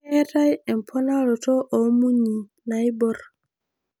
Keetai emponorato oo munyi naaibor.